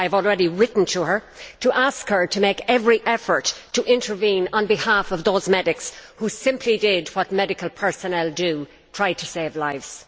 I have already written to her to ask her to make every effort to intervene on behalf of those medics who simply did what medical personnel do try to save lives.